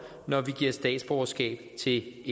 når vi giver statsborgerskab til